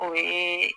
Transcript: O ye